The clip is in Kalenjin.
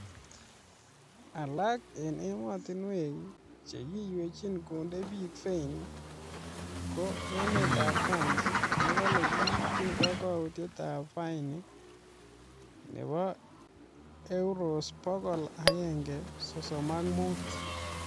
Alak en emotinwek che kiywechin konde bik fain ko emetab France nekole kiipchini kokwoutyetab fain nebo Euros bokol agenge sosom ak mut